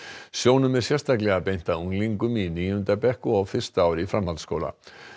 sjónum er sérstaklega beint að unglingum í níunda bekk og á fyrsta ári í framhaldsskóla